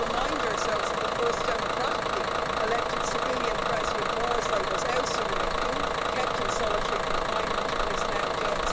We should remind ourselves that the first democratically elected civilian President Morsi was ousted in a coup, kept in solitary confinement and is now dead.